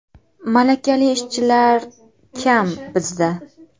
Malakali ishchilar kam bizda.